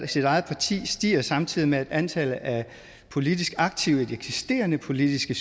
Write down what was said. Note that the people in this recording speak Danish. sit eget parti stiger samtidig med at antallet af politisk aktive i de eksisterende politiske